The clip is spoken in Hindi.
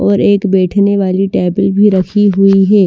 और एक बैठने वाली टेबल भी रखी हुई है।